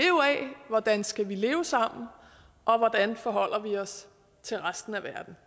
hvordan skal vi leve sammen og hvordan forholder vi os til resten af verden